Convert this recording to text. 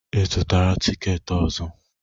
Ị zụtara tikeeti ọzọ?